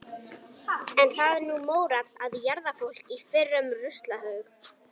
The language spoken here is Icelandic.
Er það nú mórall að jarða fólk í fyrrum ruslahaug.